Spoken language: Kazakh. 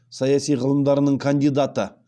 саяси ғылымдарының кандидаты